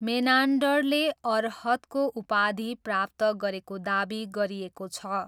मेनान्डरले अर्हतको उपाधि प्राप्त गरेको दावी गरिएको छ।